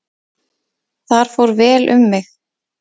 Þar fór vel um mig.